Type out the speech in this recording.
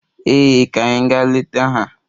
Ee, ka anyị gaa leta ha.